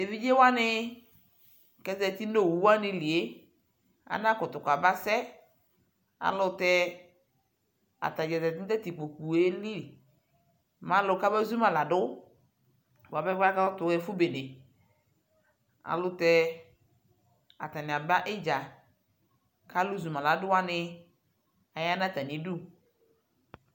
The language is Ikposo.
Tʋ evidzewani kʋ ezati nʋ owuwani lie, anakʋtʋ kabasɛ ayʋɛlʋtɛ atadza zati nʋ tatʋ ekpoe lι mɛ alʋ kamezuma ladʋ buapɛ kʋ abatu ɛfu beneayʋɛlʋtɛ atani aba idza kʋ alʋ zʋmaladuwani aya nʋ atami udu